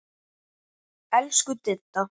Elsku Didda.